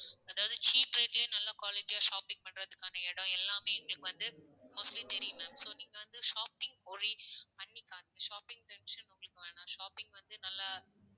அதாவது cheap rate லயே நல்லா quality யா shopping பணன்றதுக்கான இடம் எல்லாமே எங்களுக்கு வந்து, mostly தெரியும் ma'am so நீங்க வந்து shopping worry பண்ணிக்காதீங்க shopping tension உங்களுக்கு வேண்டாம் shopping வந்து நல்லா